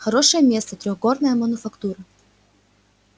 хорошее место трёхгорная мануфактура